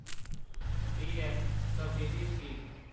PM Svanidhi scheme